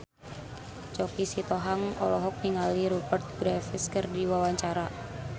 Choky Sitohang olohok ningali Rupert Graves keur diwawancara